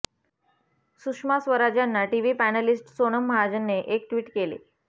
सुषमा स्वराज यांना TV panelist Sonam महाजनने एक ट्विट केले